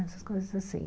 Essas coisas assim.